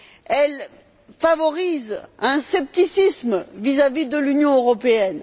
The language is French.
Elle favorise un scepticisme vis à vis de l'Union européenne.